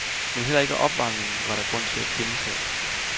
Men heller ikke opvarmningen var der grund til at kimse ad.